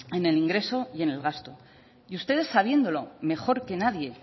en el ingreso y en el gasto y ustedes sabiéndolo mejor que nadie